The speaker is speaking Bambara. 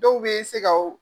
Dɔw be se ka u